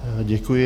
Děkuji.